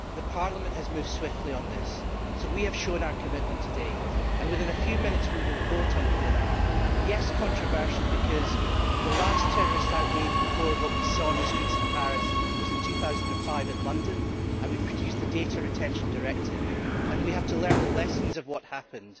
Parliament has moved swiftly on this, so we have shown our commitment today, and within a few minutes we will vote on PNR. Yes, it is controversial because the last terrorist outrage, before what we saw on the streets of Paris, was in 2005 in London, and we have since produced the Data Retention Directive, and we have to learn the lessons of what happened.